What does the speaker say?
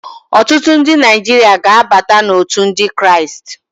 Ọtụtụ ndị Naijiria ga-abata n'òtù ndị Kraịst.